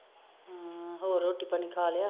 ਹਮ ਹੋਰ ਰੋਟੀ ਪਾਣੀ ਖਾ ਲਿਆ?